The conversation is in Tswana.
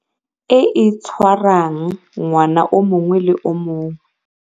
e e tshwarwang ngwaga o mongwe le o mongwe.